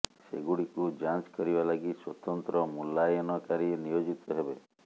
ସେଗୁଡ଼ିକୁ ଯାଞ୍ଚ କରିବା ଲାଗି ସ୍ୱତନ୍ତ୍ର ମୂଲ୍ୟାୟନକାରୀ ନିୟୋଜିତ ହେବେ